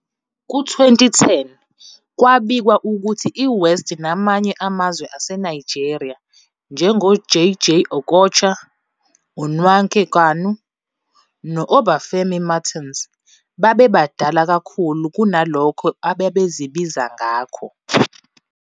Ku-2010, kwabikwa ukuthi iWest namanye amazwe aseNigeria, njengoJay-Jay Okocha, uNwankwo Kanu no- Obafemi Martins, babebadala kakhulu kunalokho ababezibiza ngakho.